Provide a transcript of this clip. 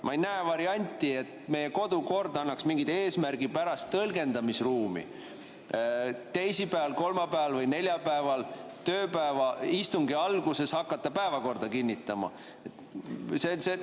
Ma ei näe varianti, et meie kodukord annaks mingi eesmärgipärase tõlgendamisruumi, et teisipäeval, kolmapäeval või neljapäeval tööpäeva istungi alguses hakata päevakorda kinnitama.